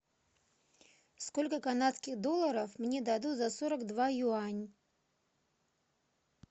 сколько канадских долларов мне дадут за сорок два юань